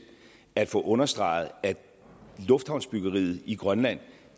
at få understreget at lufthavnsbyggeriet i grønland